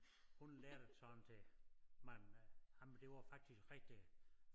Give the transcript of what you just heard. Hun lærte det sådan til mange ej men det var faktisk rigtig